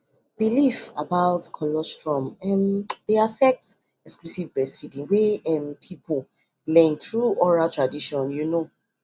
if people dey get correct info fear go reduce but some groups still go need prayer join medicine